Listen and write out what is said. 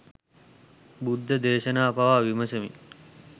බුද්ධ දේශනාව පවා විමසමින්